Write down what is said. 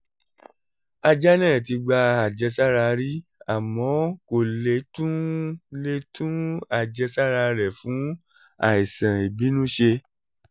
ajá náà ti gba àjẹsára rí àmọ́ kò lè tún lè tún àjẹsára rẹ̀ fún àìsàn ìbínú ṣe